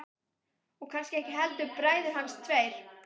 Og kannski ekki heldur bræður hans tveir.